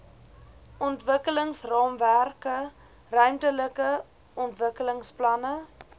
ontwikkelingsraamwerke ruimtelike ontwikkelingsplanne